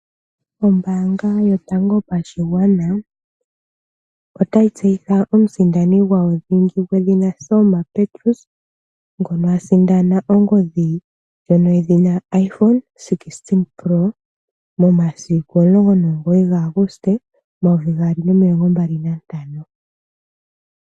Ombaanga Yotango Yopashigwana otayi tseyitha omusindani gwawo dhingi gwedhina Selma Petrus ngono a sindana ongodhi ndjono yedhina iPhone 16 Pro momasiku 19 Auguste 2025.